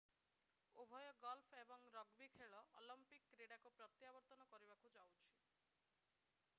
ଉଭୟ ଗଲ୍ଫ ଏବଂ ରଗବୀ ଖେଳ ଅଲମ୍ପିକ୍ କ୍ରୀଡ଼ାକୁ ପ୍ରତ୍ଯାବର୍ତ୍ତନ କରିବାକୁ ଯାଉଛି